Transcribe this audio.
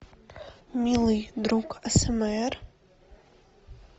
милый друг асмр